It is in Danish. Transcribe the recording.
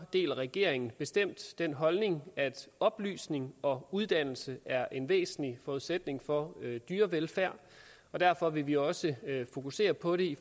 deler regeringen bestemt den holdning at oplysning og uddannelse er en væsentlig forudsætning for dyrevelfærd derfor vil vi også fokusere på det